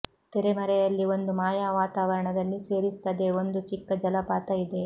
ತೆರೆಮರೆಯಲ್ಲಿ ಒಂದು ಮಾಯಾ ವಾತಾವರಣದಲ್ಲಿ ಸೇರಿಸುತ್ತದೆ ಒಂದು ಚಿಕ್ಕ ಜಲಪಾತ ಇದೆ